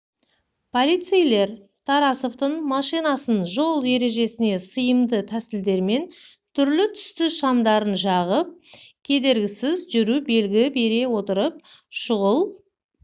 полицейлер тарасовтың машинасын жол ережесіне сыйымды тәсілдермен түрлі-түсті шамдарын жағып кедергісіз жүру белгі бере отырып шұғыл